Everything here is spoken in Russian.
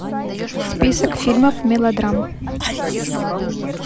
список фильмов мелодрам